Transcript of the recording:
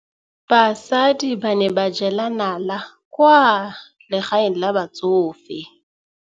Basadi ba ne ba jela nala kwaa legaeng la batsofe.